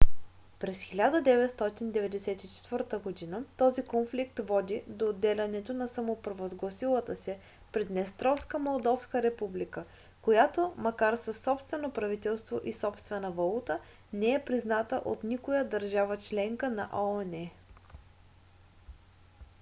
през 1994 г. този конфликт води до отделянето на самопровъзгласилата се приднестровска молдовска република която макар със собствено правителство и собствена валута не е призната от никоя държава-членка на оон